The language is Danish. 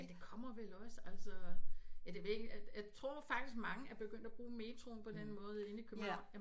Men den kommer vel også altså ja det ved ikke at at jeg tror faktisk mange er begyndt at bruge metroen på den måde inde i København